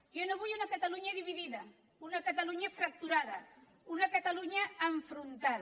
jo no vull una catalunya dividida una catalunya fracturada una catalunya enfrontada